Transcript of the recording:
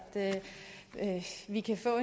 vi kan få